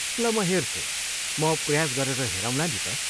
ल म हेर्छु, म प्रयास गरेर हेरौँला नि त।